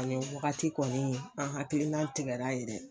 O ni wagati kɔni an hakilina tigɛra ye dɛ.